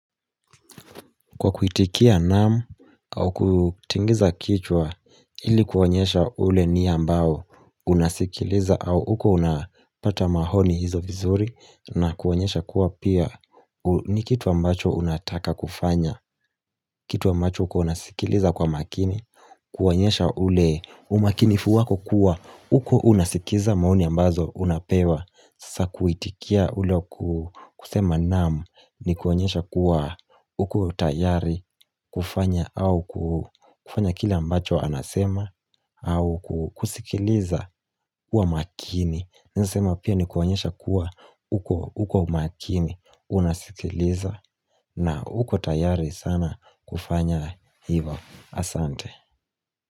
Kwa kuitikia naam au kutingiza kichwa ili kuonyesha ule ni ambao unasikiliza au uko unapata mahoni hizo vizuri na kuonyesha kuwa pia ni kitu ambacho unataka kufanya. Kitu ambacho uko unasikiliza kwa makini, kuonyesha ule umakinifu wako kuwa, uko unasikiza maoni ambazo unapewa. Sasa kuitikia ule wa kusema naam ni kuonyesha kuwa uko tayari kufanya au kufanya kila mbacho anasema au kusikiliza kwa makini. Naeza sema pia ni kuonyesha kuwa uko makini unasikiliza na uko tayari sana kufanya hivyo. Asante.